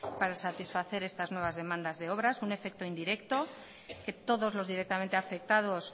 para satisfacer estas nuevas demandas de obra un efecto indirecto que todos los directamente afectados